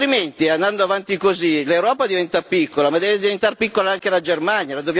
Altrimenti, andando avanti così, l'Europa diventa piccola ma deve diventare piccola anche la Germania.